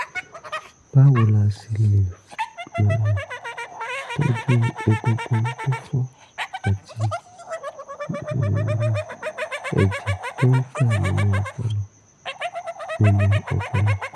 báwo la ṣe lè um tọ́jú egungun tó fọ́ àti um ẹ̀jẹ̀ tó ń dà nínú ọpọlọ? nínú ọpọlọ?